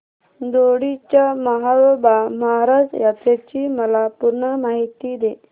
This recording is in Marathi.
दोडी च्या म्हाळोबा महाराज यात्रेची मला पूर्ण माहिती दे